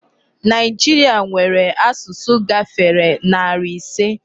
Nigeria nwèrè asụsụ gáfèrè narị ịse.